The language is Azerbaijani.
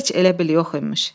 Heç elə bil yox imiş.